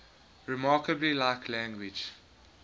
remarkably like language